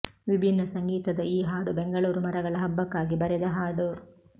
ವಿಭಿನ್ನ ಸಂಗೀತದ ಈ ಹಾಡು ಬೆಂಗಳೂರು ಮರಗಳ ಹಬ್ಬಕ್ಕಾಗಿ ಬರೆದ ಹಾಡು